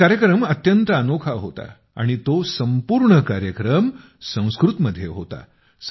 हा कार्यक्रम अत्यंत अनोखा होता आणि तो संपूर्ण कार्यक्रम संस्कृतमध्ये होता